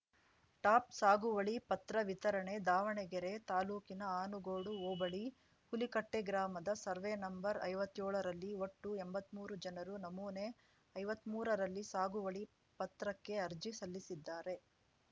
top ಸಾಗುವಳಿ ಪತ್ರ ವಿತರಣೆ ದಾವಣಗೆರೆ ತಾಲೂಕಿನ ಆನಗೋಡು ಹೋಬಳಿ ಹುಲಿಕಟ್ಟೆಗ್ರಾಮದ ಸರ್ವೇ ನಂಬರ್ಐವತ್ತೇಳರಲ್ಲಿ ಒಟ್ಟು ಎಂಬತ್ಮೂರು ಜನರು ನಮೂನೆ ಐವತ್ಮುರರಲ್ಲಿ ಸಾಗುವಳಿ ಪತ್ರಕ್ಕೆ ಅರ್ಜಿ ಸಲ್ಲಿಸಿದ್ದಾರೆ